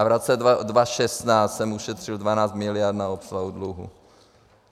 A v roce 2016 jsem ušetřil 12 miliard na obsluhu dluhu.